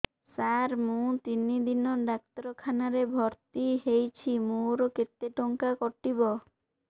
ସାର ମୁ ତିନି ଦିନ ଡାକ୍ତରଖାନା ରେ ଭର୍ତି ହେଇଛି ମୋର କେତେ ଟଙ୍କା କଟିବ